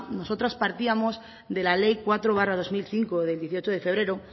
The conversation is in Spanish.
nosotras partíamos de la ley cuatro barra dos mil cinco del dieciocho de febrero